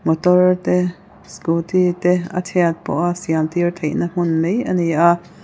motor te scooty te a chhiat pawha siam tîr theihna hmun mai a ni a.